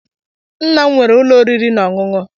Nna'm wéré ulo oriri na ọṅụṅụ.